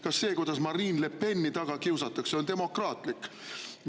Kas see, kuidas Marine Le Peni taga kiusatakse, on demokraatlik?